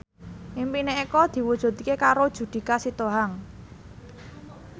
impine Eko diwujudke karo Judika Sitohang